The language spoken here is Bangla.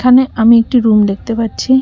এখানে আমি একটি রুম দেখতে পাচ্ছি।